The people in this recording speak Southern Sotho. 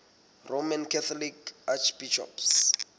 roman catholic archbishops